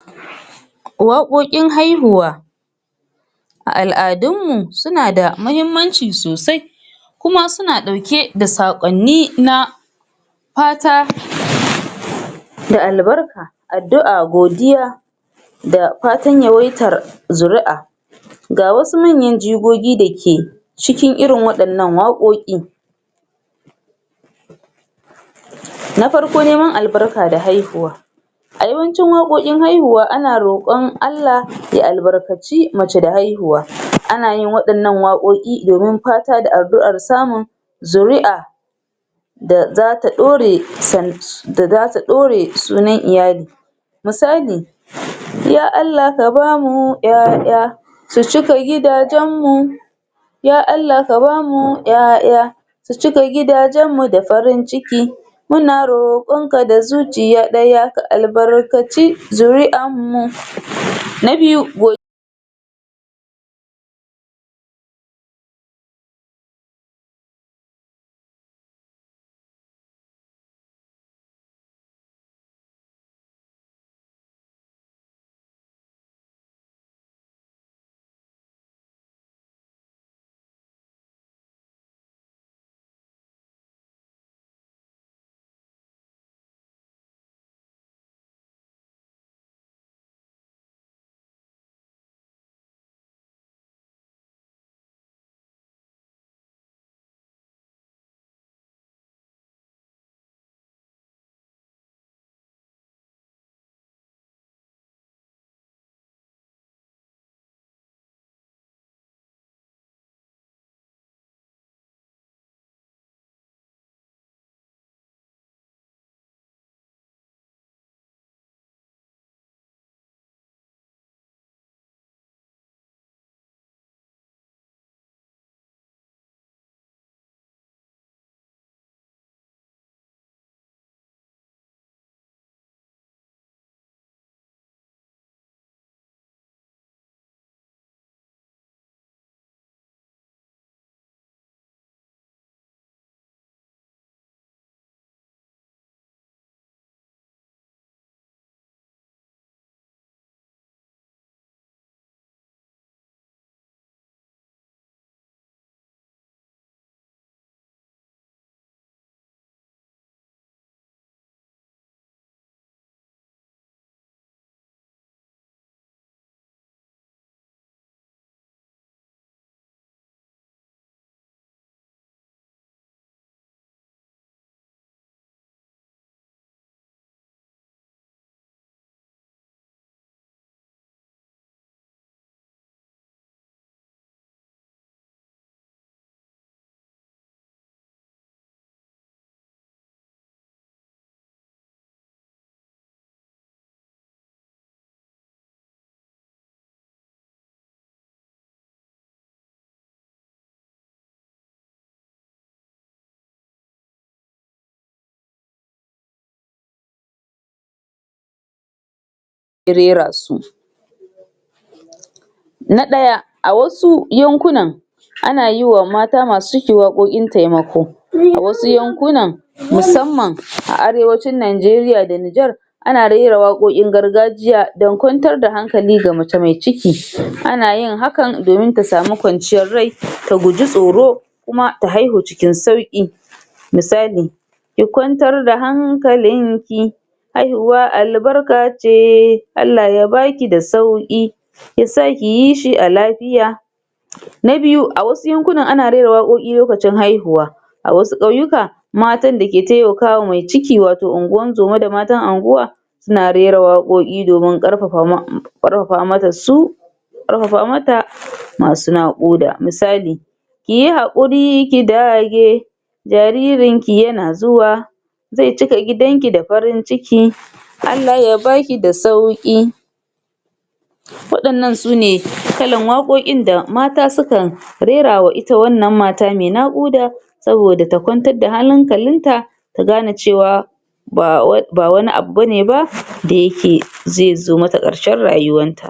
Wakokin haihuwa a al'adummu suna da mahimmanci sosai kuma suna dauke da sakwanni na fata da albarka addu'a godiya da fatan yawaitar zuri'a ga wasu manyan jigogi da ke cikin wadannan wakoki na farko neman albarka da haihuwa a yawancin wakokin haihuwa ana rokan Allah ya albarkaci mace da haihuwa ana yin wadnnan wakoki domin fata da addu'ar samun zuri'ar da za ta dore san da za ta dore sunan iyali misali ya Allah ka bamu 'ya-'ya su cika gidajen mu ya Allah ka bamu 'ya-'ya su cika gidajanmu da farin ciki muna rokanka da zuciya daya ka albarkaci zuri'anmu na biyu go da rera su na daya a wasu yankunan ana yiwa mata masu ciki wakokin temako wasu yankunan mu samman a arewacun Najeriya da nijar ana rera wakokin gargajiya dan kwantar da hankali ga mace mai ciki anayin hakan domin ta sami kwanciyar rai ta guji tsoro kuma ta haihu ciin sauki misali ki kwantar da hankalinki haihuwa albarka ceeee Allah ya baki da sauki yasa kiyi shi a lafiya na biyu a wasu yankunan ana rera wakoki lokutan haihuwa a wasu kauyuka matan da ke temakawa mai ciki wato unguwan zoma da man unguwa suna rera wakoki domin karfafa mom karfafa mata su karfafamata masu na kuda misali kiyi hakuri ki dage jaririnki yana zuwa zai cika gidanki da farin ciki Allah ya baki da sauki wadannan su ne kalan wakokin da mata sukan rerawa ita wannan mata mai nakuda sabida ta kwantar da hanalinta ta gane cewa ba wai, ba wani abu bane ba da yake zai zo mata karshen rayuwarta